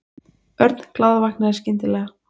Örn glaðvaknaði skyndilega.